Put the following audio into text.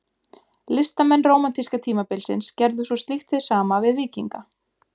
Listamenn rómantíska tímabilsins gerðu svo slíkt hið sama við víkinga.